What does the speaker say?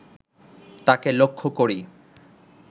তাঁকে লক্ষ করি